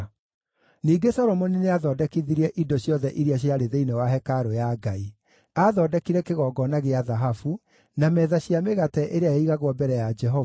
Ningĩ Solomoni nĩathondekithirie indo ciothe iria ciarĩ thĩinĩ wa hekarũ ya Ngai: aathondekire kĩgongona gĩa thahabu; na metha cia mĩgate ĩrĩa yaigagwo mbere ya Jehova;